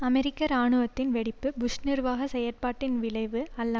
அமெரிக்க இராணுவத்தின் வெடிப்பு புஷ் நிர்வாக செயற்பாட்டின் விளைவு அல்ல